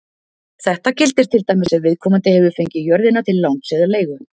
Þetta gildir til dæmis ef viðkomandi hefur fengið jörðina til láns eða leigu.